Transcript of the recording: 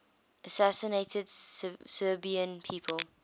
assassinated serbian people